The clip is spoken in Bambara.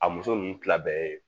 A muso nunnu kila bɛɛ ye